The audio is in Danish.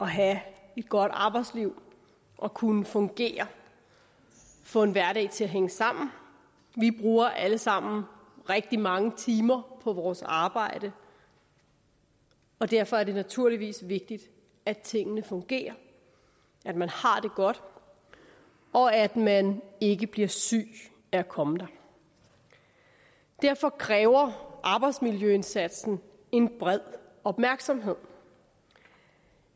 have et godt arbejdsliv og at kunne fungere få en hverdag til at hænge sammen vi bruger alle sammen rigtig mange timer på vores arbejde og derfor er det naturligvis vigtigt at tingene fungerer at man har det godt og at man ikke bliver syg af at komme der derfor kræver arbejdsmiljøindsatsen en bred opmærksomhed